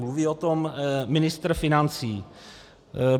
Mluví o tom ministr financí.